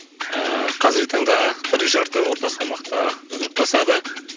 ыыы қазіргі таңда бір жарты орта салмақта жұдырықтасады